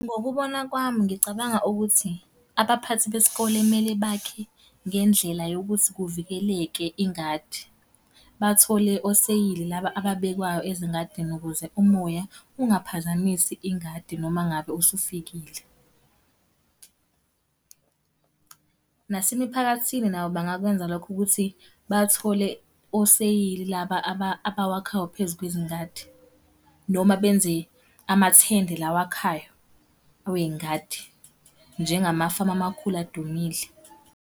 Ngokubona kwami ngicabanga ukuthi, abaphathi besikole kumele bakhe ngendlela yokuthi kuvikeleke ingadi. Bathole oseyili laba ababekwayo ezingadini ukuze umoya, ungaphazamisi ingadi noma ngabe usufikile. Nasemiphakathini nabo bengakwenza lokho ukuthi bathole oseyili laba abawakhayo phezu kwezingadi. Noma benze, amathende lawa akhayo, awey'ngadi. Njengamafamu amakhulu adumile.